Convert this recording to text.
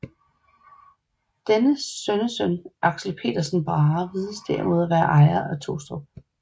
Dennes sønnesøn Axel Pedersen Brahe vides derimod at være ejer af Tostrup